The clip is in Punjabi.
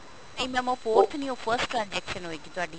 ਨਹੀਂ mam ਉਹ forth ਨੀ first transaction ਹੋਏਗੀ ਤੁਹਾਡੀ